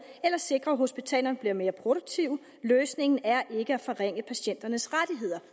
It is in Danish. eller sikre at hospitalerne bliver mere produktive løsningen er ikke at forringe patienternes rettigheder